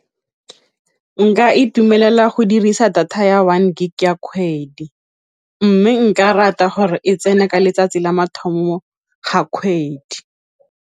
Nka itumelela go dirisa data ya one gig ya kgwedi, mme nka rata gore e tsena ka letsatsi la mathomo ga kgwedi.